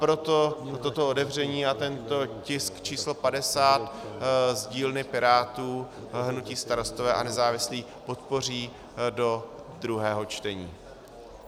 Proto toto otevření a tento tisk číslo 50 z dílny Pirátů hnutí Starostové a nezávislí podpoří do druhého čtení.